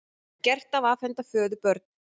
Gert að afhenda föður börn